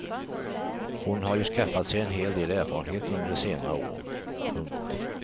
Hon har ju skaffat sig en hel del erfarenhet under senare år. punkt